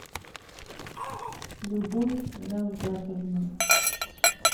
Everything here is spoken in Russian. любовь равгатовна